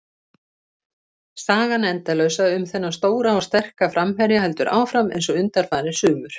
Sagan endalausa um þennan stóra og sterka framherja heldur áfram eins og undanfarin sumur.